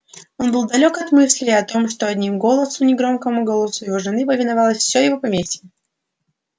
он был далёк от мысли о том что одним голосом негромкому голосу его жены повиновалось всё в поместье